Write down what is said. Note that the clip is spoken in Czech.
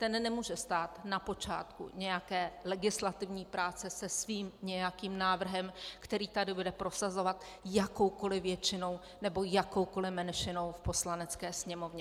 Ten nemůže stát na počátku nějaké legislativní práce se svým nějakým návrhem, který tady bude prosazovat jakoukoli většinou nebo jakoukoli menšinou v Poslanecké sněmovně.